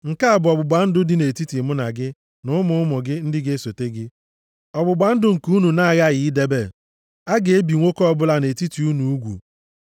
Nke a bụ ọgbụgba ndụ dị nʼetiti mụ na gị na ụmụ ụmụ gị ndị ga-esote gị, ọgbụgba ndụ nke unu na-aghaghị idebe. A ga-ebi nwoke ọbụla nʼetiti unu ugwu.